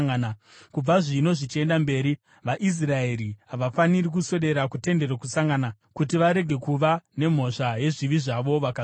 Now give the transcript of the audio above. Kubva zvino zvichienda mberi, vaIsraeri havafaniri kuswedera kuTende Rokusangana, kuti varege kuva nemhosva yezvivi zvavo vakazofa.